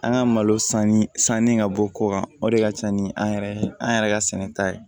An ka malo sanni sanni ka bɔ kɔ kan o de ka ca ni an yɛrɛ an yɛrɛ ka sɛnɛta ye